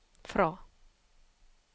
fra